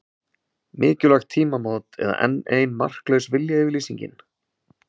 Mikilvæg tímamót eða enn ein marklaus viljayfirlýsingin?